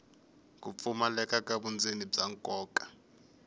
pfumaleka ka vundzeni bya nkoka